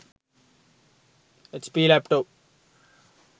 hp laptop